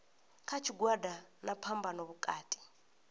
kha tshigwada na phambano vhukati